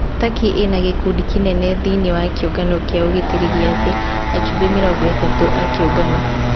Takĩ ĩna gĩkundi kĩnene thĩini ya kĩũngano kĩa ũgitĩri gĩa thĩ, ajumbe mĩrongo-ĩtatũ a kĩũngano.